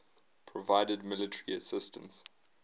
provided military assistance